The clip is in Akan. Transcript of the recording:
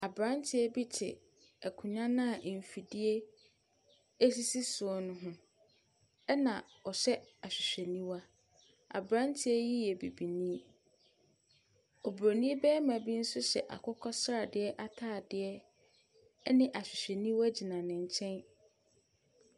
Aberantɛ bi te akonnwa no a mfidie sisi so no ho, ɛna ɔhyɛ ahwehwɛniwa. Aberanteɛ yi yɛ Bibini. Oburonin barima bi nso hyɛ akokɔsradeɛ atadeɛ ne ahwehwɛniwa gyina ne nkyɛn.